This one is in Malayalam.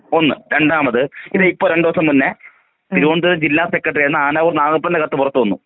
ഒന്ന് രണ്ടാമത് ഇതിപ്പം രണ്ടീസം മുന്നെ തിരുവനന്തപുരം ജില്ലാ സെക്രട്ടറി ആയിരുന്ന നാഗപ്പൻറെ കത്ത് പുറത്ത് വന്നു.